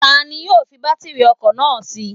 Tani yóò fi bátírì ọkọ̀ náà sí?